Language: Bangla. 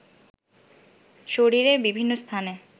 শরীরের বিভিন্ন স্থানে